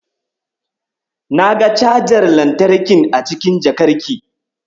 Na ga cajar lantarkin a cikin jakarki.